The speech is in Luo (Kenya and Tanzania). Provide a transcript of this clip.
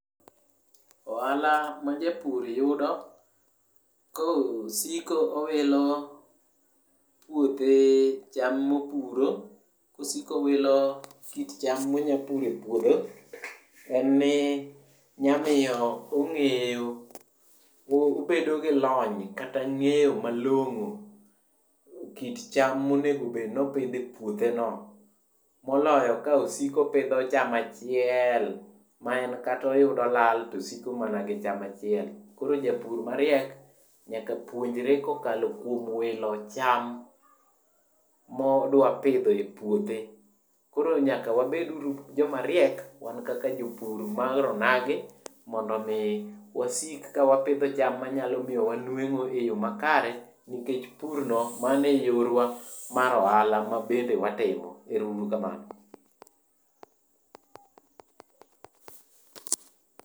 Ohala majapur yudo, kosiko owilo puothe cham mopuro, kosiko owilo kit cham monyapuro e puodho, en ni nya miyo ong'eyo, obedo gi lony kata ng'eyo malong'o, kit cham monego bed nopidho e puotheno. Moloyo ka osiko opidho cham achieel ma en kata oyudo lal to osiko mana gi cham achiel. Koro japur mariek nyaka puonjre kokalo kuom wilo cham modwa pidho e puothe. Koro nyaka wabed uru jomariek, wan kaka jopur mar onagi, mondo omi wasik ka wapidho cham manyalo miyowa nweng'o e yo makare, nikech purno mano e yorwa mar ohala ma bende watimo. Ero uru kamano.